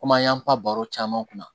Komi an y'an pan baro caman kun na